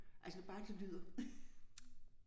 Altså bare det lyder